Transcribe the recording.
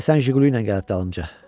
Həsən jiqulu ilə gəlib dalımca.